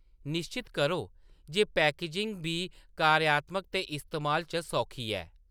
निश्चत करो जे पैकेजिंग बी कार्यात्मक ते इस्तेमाल च सौखी ऐ।